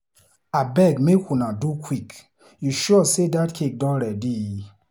Abeg make una do quick, you sure say dat cake don ready?